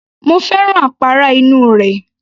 Mo fẹ́ràn àpárá inú rẹ̀